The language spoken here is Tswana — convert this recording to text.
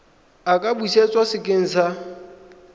a ka busetswa sekeng sa